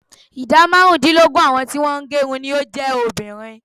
Ìdá márùndínlógún àwọn tí wọ́n ń gerun ni ó jẹ́ obìnrin.